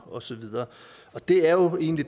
og så videre det er jo egentlig